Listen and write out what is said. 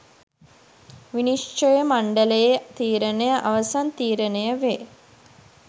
විනිශ්චය මණ්ඩලයේ තීරණය අවසන් තීරණය වේ